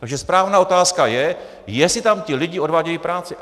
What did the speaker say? Takže správná otázka je, jestli tam ti lidé odvádějí práci.